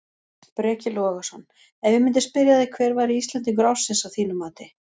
Breki Logason: Ef ég myndi spyrja þig hver væri Íslendingur ársins að þínu mati?